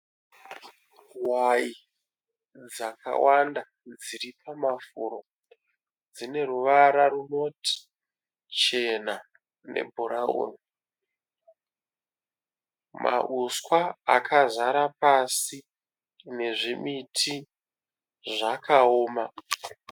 Hwai dzakawanda dziri pamafuro. Dzine ruvara runoti chena nebhurawuni. Mauswa akazara pasi nezvimiti zvakaoma.